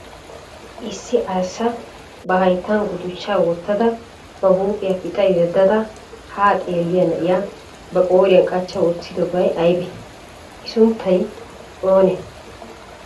Issi arssa ba hayittan gudichchaa wottada ba huuphiya pixa yeddada haa xeelliya na"iya ba qooriyan qachcha wottidobay aybee? I sunttay oonee?